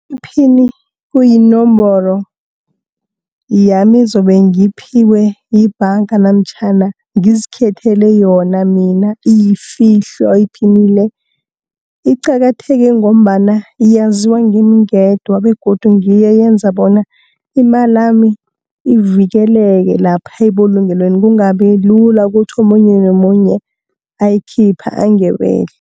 Iphini kuyinomboro yami ezobe ngiyiphiwe yibhanga, namtjhana ngizikhethele yona mina iyifihlwa iphini le. Iqakatheke ngombana yaziwa ngimi ngedwa, begodu ngiyo eyenza bona imali yami ivikeleke lapha ebulungelweni, kungabi lula kuthi omunye nomunye ayikhiphe angebele.